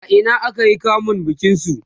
a Ina aka yi kamun bikin su?